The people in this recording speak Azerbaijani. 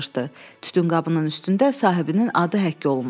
Tütünqabının üstündə sahibinin adı həkk olunmuşdu.